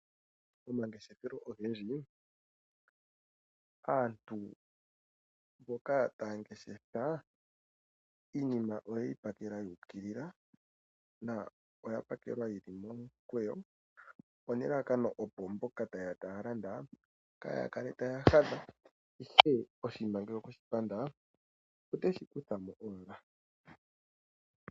Pomangeshefelo ogendji aantu mboka taya ngeshefa iinima oye yi pakela yu ukilila na oya pakelwa yi li momukweyo, onelalakano opo mboka taya landa kaaya kale taya hadha, ihe oshinima ngele okwe shi panda oteshi kutha mo owala.